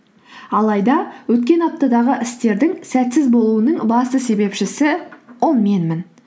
алайда өткен аптадағы істердің сәтсіз болуының басты себепшісі ол менмін